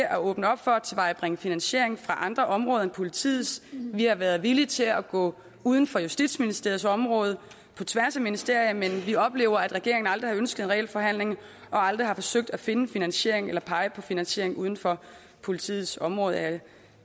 at åbne op for at tilvejebringe finansiering fra andre områder end politiets vi har været villige til at gå uden for justitsministeriets område på tværs af ministerier men vi oplever at regeringen aldrig har ønsket en reel forhandling og aldrig har forsøgt at finde finansiering eller pege på finansiering uden for politiets område jeg